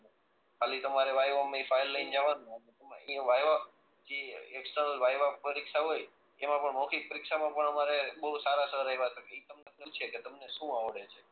ખાલી તમારે ફાઈલ લઈ ને જવાનું અને એમાં પરીક્ષા હોય એમાં પણ મોખિક પરીક્ષા માં પણ અમારે બહું સારા સર આવ્યા તા ઈ તમને પૂછે કે તમને શું આવડે છે